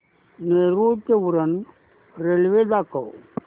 नेरूळ ते उरण रेल्वे दाखव